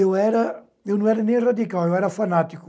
Eu era, eu não era nem radical, eu era fanático.